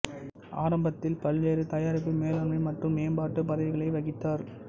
ஆரம்பத்தில் பல்வேறு தயாரிப்பு மேலாண்மை மற்றும் மேம்பாட்டு பதவிகளை வகித்தார்